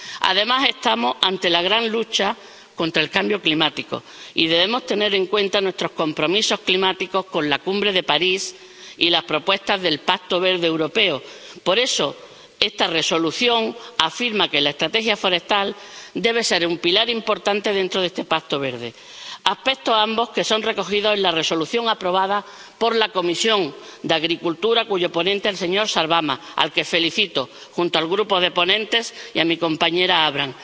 Además, estamos ante la gran lucha contra el cambio climático y debemos tener en cuenta nuestros compromisos climáticos contraídos en la Cumbre de París y las propuestas del Pacto Verde Europeo —por eso, esta Resolución afirma que la estrategia forestal debe ser un pilar importante dentro de este Pacto Verde—, aspectos ambos que son recogidos en la Resolución aprobada por la Comisión de Agricultura y Desarrollo Rural, cuyo ponente es el señor Sarvamaa, al que felicito junto al grupo de ponentes y a mi compañera Avram.